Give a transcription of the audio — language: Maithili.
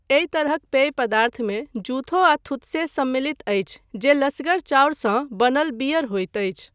एहि तरहक पेय पदार्थमे जुथो आ थुत्से सम्मिलित अछि जे लसगर चाउरसँ बनल बीयर होइत अछि।